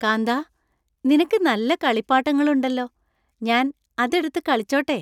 കാന്താ, നിനക്ക് നല്ല കളിപ്പാട്ടങ്ങളുണ്ടല്ലോ. ഞാൻ അത് എടുത്ത് കളിച്ചോട്ടെ ?